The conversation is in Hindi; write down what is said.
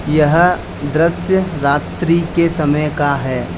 यह दृश्य रात्रि के समय का है।